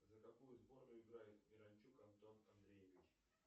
за какую сборную играет миранчук антон андреевич